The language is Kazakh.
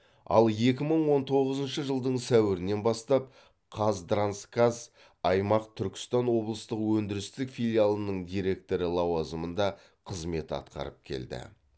ал екі мың он тоғызыншы жылдың сәуірінен бастап қазтрансгаз аймақ түркістан облыстық өндірістік филиалының директоры лауазымында қызмет атқарып келді